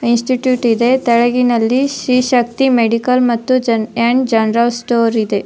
Institute ಇದೆ ತೆಳಗಿನಲ್ಲಿ Shri Shakti medical ಮತ್ತು‌ ಆಂಡ ಜೇನ್ ಜನರಲ್ ಸ್ಟೋರ್ ಇದೆ.